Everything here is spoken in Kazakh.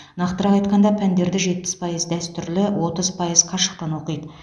нақтырақ айтқанда пәндерді жетпіс пайыз дәстүрлі отыз пайыз қашықтан оқиды